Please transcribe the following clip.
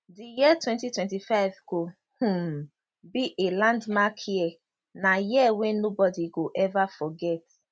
di year 2025 go um be a landmark year na year wey nobody go ever forget